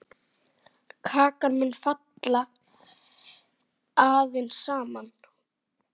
Kakan mun falla aðeins saman.